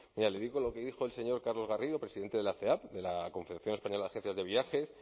mira le digo lo que dijo el señor carlos garrido presidente de la ceav de la confederación española de agencias de viajes